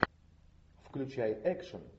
включай экшн